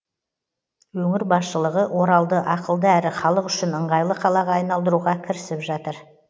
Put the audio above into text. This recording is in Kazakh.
өңір басшылығы оралды ақылды әрі халық үшін ыңғайлы қалаға айналдыруға кірісіп жатыр